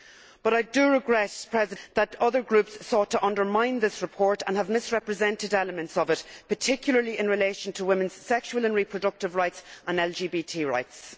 But I regret that other groups sought to undermine this report and have misrepresented elements of it, particularly in relation to women's sexual and reproductive rights and LGBT rights.